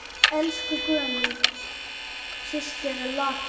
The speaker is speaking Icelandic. Elsku Guðný systir er látin.